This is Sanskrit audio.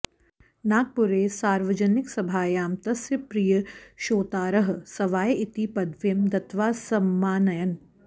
नागपुरे सार्वजनिकसभायां तस्य प्रियश्रोतारः सवाय् इति पदवीं दत्त्वा सममानयन्